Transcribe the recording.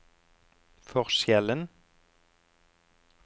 forskjellen